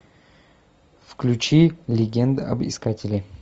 включи легенды об искателе